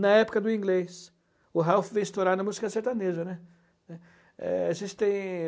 Na época do inglês, o Ralph veio estourar na música sertaneja, né. É, a gente tem...